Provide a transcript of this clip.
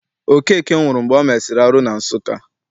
Okeke nwụrụ mgbe o mesịrị arụ na Nsụka.